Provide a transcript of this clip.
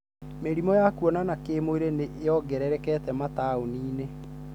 Mĩrimũ ya kuonana kĩ mwĩri nĩ ĩrogerereka mataũninĩ.